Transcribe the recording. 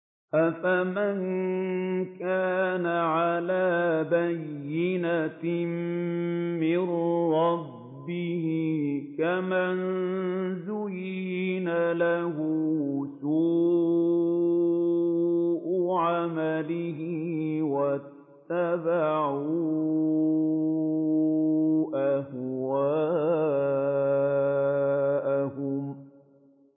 أَفَمَن كَانَ عَلَىٰ بَيِّنَةٍ مِّن رَّبِّهِ كَمَن زُيِّنَ لَهُ سُوءُ عَمَلِهِ وَاتَّبَعُوا أَهْوَاءَهُم